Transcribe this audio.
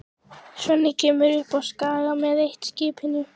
Svenni kemur upp á Skaga með eitt-skipinu.